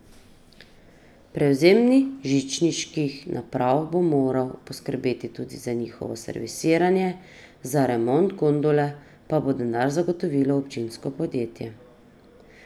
Prevzemnik žičniških naprav bo moral poskrbeti tudi za njihovo servisiranje, za remont gondole pa bo denar zagotovilo občinsko podjetje.